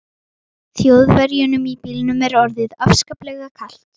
Þjóðverjunum í bílnum er orðið afskaplega kalt.